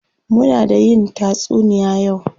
Muna da yin tatsuniya yau.